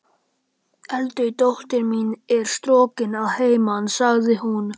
Eldri dóttir mín er strokin að heiman, sagði hún.